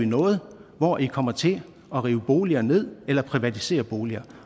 noget hvor i kommer til at rive boliger ned eller privatisere boliger